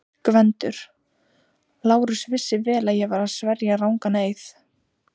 GVENDUR: Lárus vissi vel að ég var að sverja rangan eið.